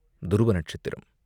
துருவ நட்சத்திரம்!